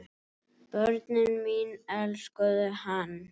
Börnin mín elskuðu hann.